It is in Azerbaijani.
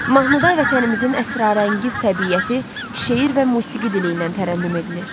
Mahnıda vətənimizin əsrarəngiz təbiəti şeir və musiqi dili ilə tərənnüm edilir.